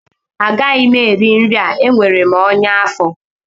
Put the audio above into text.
Agaghị m eri nri a enwere m ọnya afọ